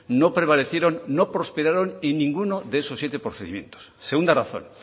no prevalecieron no prosperaron en ninguno de esos siete procedimientos segunda razón